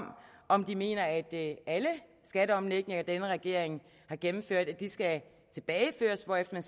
om de mener at alle skatteomlægninger denne regering har gennemført skal tilbageføres hvorefter